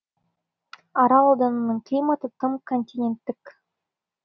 арал ауданының климаты тым континенттік